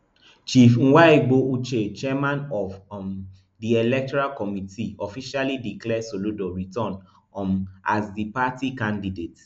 chief nwaegbo uche chairman of um di electoral committee officially declare soludo returned um as di party candidate